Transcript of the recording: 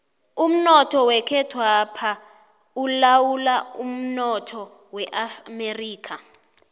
umnoth wekhethwapha ulawulwa mnotho weamerika